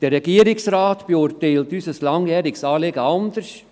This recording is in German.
Der Regierungsrat beurteilt unser langjähriges Anliegen anders.